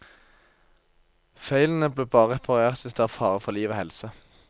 Feilene blir bare reparert hvis det er fare for liv og helse.